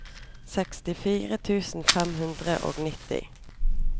sekstifire tusen fem hundre og nitti